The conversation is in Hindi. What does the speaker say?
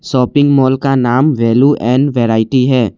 शॉपिंग मॉल का नाम वैल्यू एंड वैरायटी है।